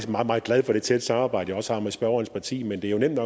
meget meget glad for det tætte samarbejde jeg også har med spørgerens parti men det er jo nemt